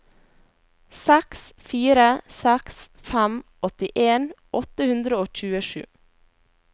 seks fire seks fem åttien åtte hundre og tjuesju